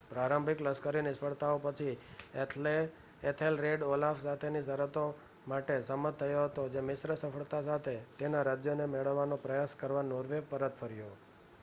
પ્રારંભિક લશ્કરી નિષ્ફળતાઓ પછી એથેલરેડ ઓલાફ સાથેની શરતો માટે સંમત થયો હતો, જે મિશ્ર સફળતા સાથે તેના રાજ્યને મેળવવાનો પ્રયાસ કરવા નોર્વે પરત ફર્યો